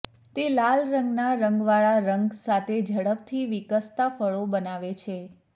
તે લાલ રંગના રંગવાળા રંગ સાથે ઝડપથી વિકસતા ફળો બનાવે છે